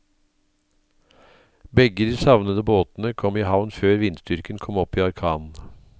Begge de savnede båtene kom i havn før vindstyrken kom opp i orkan.